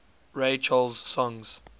ray charles songs